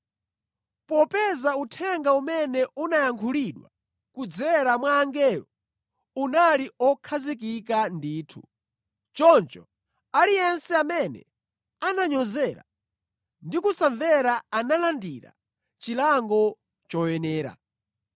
Popeza uthenga umene unayankhulidwa kudzera mwa angelo unali okhazikika ndithu, choncho aliyense amene ananyozera ndi kusamvera analandira chilango choyenera.